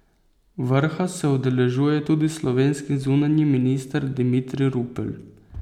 Vrha se udeležuje tudi slovenski zunanji minister Dimitrij Rupel.